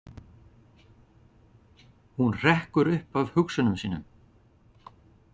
Hún hrekkur upp af hugsunum sínum.